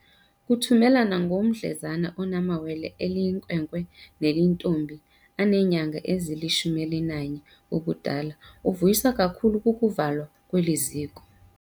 Kutumela nongumdlezana onamawele, eliyinkwenkwe neliyintombi, aneenyanga ezili-11 ubudala, uvuyiswa kakhulu kukuvu lwa kweli ziko.